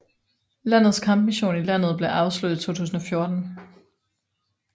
Landets kampmission i landet blev afsluttet i 2014